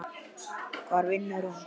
Hvar vinnur hún?